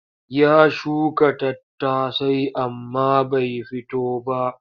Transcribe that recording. Ya shuka tattasai amma bai fito ba.